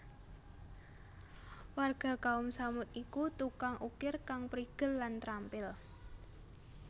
Warga Kaum Tsamud iku tukang ukir kang prigel lan trampil